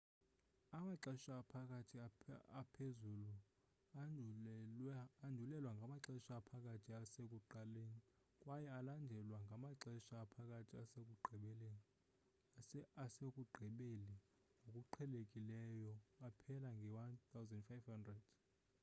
amaxesha aphakathi aphezuluandulelwa ngamaxesha aphakathi asekuqaleni kwaye alandelwa ngamaxesha aphakathi asekugqibeli ngokuqhelekileyo aphele nge-1500